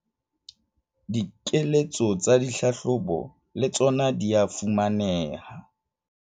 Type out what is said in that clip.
Dikeletso tsa dihlahlobo le tsona di a fumaneha